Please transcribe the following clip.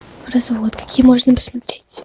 развод какие можно посмотреть